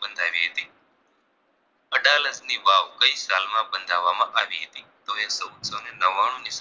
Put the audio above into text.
ની વાવ કઈ સાલમાં બંધાવવામાં આવી હતી તો કે ચૌદસોને નવાણું ની